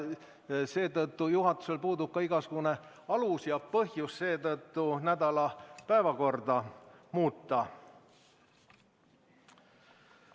Seetõttu juhatusel puudub ka igasugune alus ja põhjus nädala päevakorda muuta.